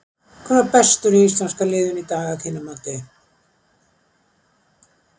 Hver var bestur í íslenska liðinu í dag að þínu mati?